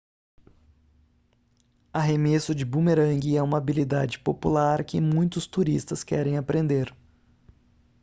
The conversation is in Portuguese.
arremesso de bumerangue é uma habilidade popular que muitos turistas querem aprender